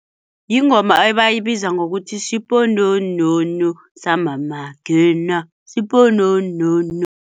Yingoma abayibiza ngokuthi shipononono samamakhena sipononono.